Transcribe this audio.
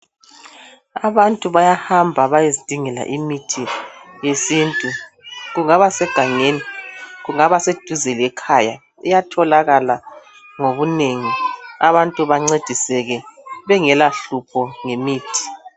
Abantu bayahamba bayezidingela imithi yesintu kungaba segangeni kungaba seduze lekhaya iyatholakala ngobunengi abantu bancediseke bengela hlupho ngemithi.